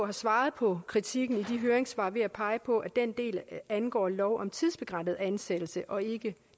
har svaret på kritikken i de høringssvar ved at pege på at den del angår lov om tidsbegrænset ansættelse og ikke